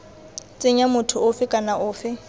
tsenya motho ofe kana ofe